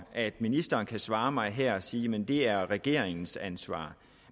at ministeren kan svare mig her og sige jamen det er regeringens ansvar